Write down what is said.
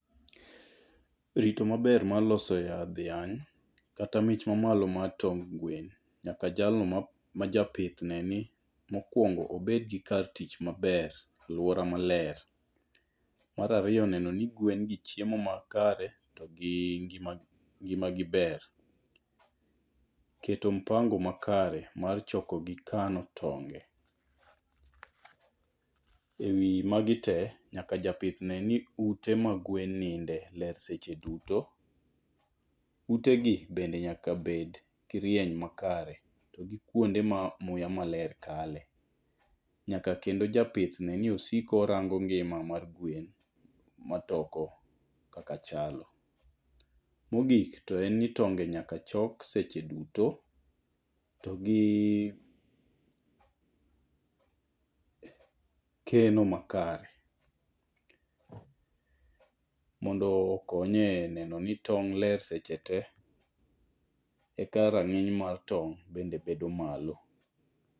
Rito maber mar loso yadh yany kata mich mamalo mar tong' gwen. Nyaka jalno ma japith ne ni mokwongo obed gi kar tich maber. Aluora maler. Mar ariyo neno ni gwen gi chiemo makare to gi ngima gi ber. Keto mpango makare mar choko gik kano tonge: E wi magi te nyaka japith ne ni ute ma gwen ninde ler seche duto. Ute gi bende nyaka bed gi rieny makare to gi kuonde ma muya maler kale. Nyaka kendo japith ne ni osiko orango ngima mar gwen matoko kaka chalo. Mogik to en ni tonge nyaka chok seche duto. To gi keno makare mondo konye neno ni tong' ler seche te e ka ranginy mar tong' bende bedo malo.